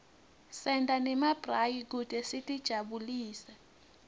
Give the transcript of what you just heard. senta nemabrayi kute sitijabulise